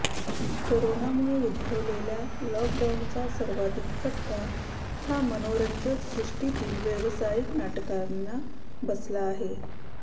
करोनामुळे उद्भवलेल्या लॉकडाउनचा सर्वाधिक फटका हा मनोरंजन सृष्टीतील व्यावसायिक नाटकांना बसला आहे